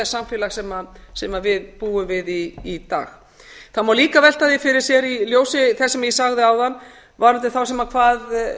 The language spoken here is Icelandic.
samfélags sem við búum við í dag það má líka velta því fyrir sér í ljósi þess sem ég sagði áðan varðandi þá sem